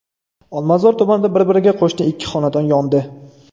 Olmazor tumanida bir-biriga qo‘shni ikki xonadon yondi.